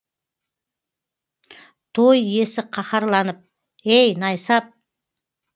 той иесі қаһарланып ей найсап